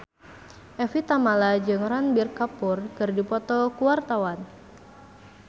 Evie Tamala jeung Ranbir Kapoor keur dipoto ku wartawan